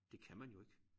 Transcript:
Det kan man jo ikke